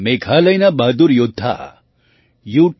મેઘાલયના બહાદુર યૌદ્ધા યૂ